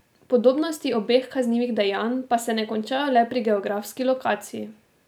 Podobnosti obeh kaznivih dejanj pa se ne končajo le pri geografski lokaciji.